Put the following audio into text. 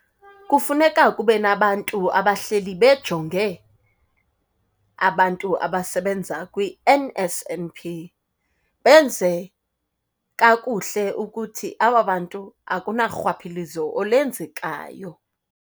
Kufuneka kube nabantu abahleli bejonge abantu abasebenza kwiN_S_N_P, benze kakuhle ukuthi aba bantu akunarhwaphilizo olenzekayo.